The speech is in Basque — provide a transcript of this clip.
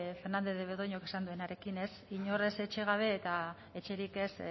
fernandez de betoñok esan duenarekin ez inor ez etxe gabe eta etxerik ez